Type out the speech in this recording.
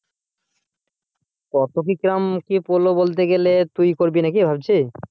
কত কি রকম কি পড়ল বলতে গেলে তুই করবি নাকি ভাবছিস?